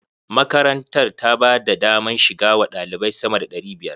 Makarantar ta ba da daman shiga wa ɗalibai sama da ɗari biyar.